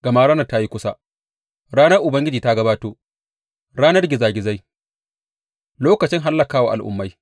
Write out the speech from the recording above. Gama ranar ta yi kusa, ranar Ubangiji ta gabato, ranar gizagizai, lokacin hallaka wa al’ummai.